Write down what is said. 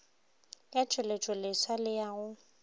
ya tšweletšoleswa le ya go